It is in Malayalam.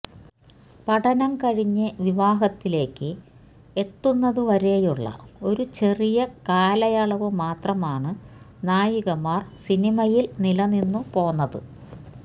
പഠന കഴിഞ്ഞ് വിവാഹത്തിലേക്ക് എത്തുന്നതുവരെയുള്ള ഒരു ചെറിയ കാലയളവ് മാത്രമാണ് നായികമാര് സിനിമയില് നിലനിന്നു പോന്നത്